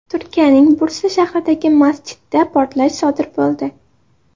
Turkiyaning Bursa shahridagi masjidda portlash sodir bo‘ldi.